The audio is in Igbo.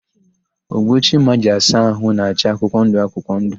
Ogbo Chima ji asa ahụ na-acha akwụkwọndụ akwụkwọndụ.